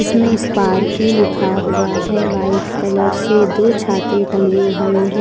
में स्पार्की लिखा हुआ है वाइट कलर से दो छाते टंगे हुए हैं ।